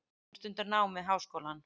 Hún stundar nám við háskólann.